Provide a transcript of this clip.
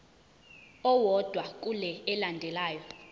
owodwa kule elandelayo